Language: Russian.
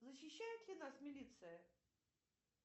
защищает ли нас милиция